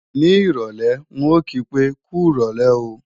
Ní ìrọ̀lé, ń ò kí pé, "kú rọ̀lé o"